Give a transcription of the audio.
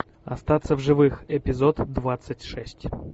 остаться в живых эпизод двадцать шесть